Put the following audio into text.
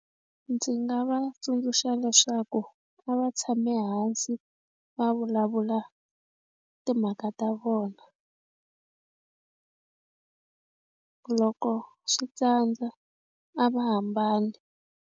Ndzi nga va tsundzuxa leswaku a va tshame hansi va vulavula timhaka ta vona loko swi tsandza a va hambani.